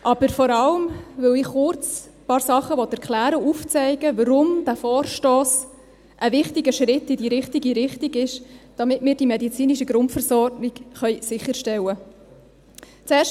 Dies vor allem, weil ich kurz ein paar Sachen erklären will und aufzeigen will, weshalb dieser Vorstoss ein wichtiger Schritt in die richtige Richtung ist, damit wir die medizinische Grundversorgung sicherstellen können.